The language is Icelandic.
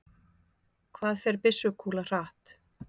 Hvað fer byssukúla hratt?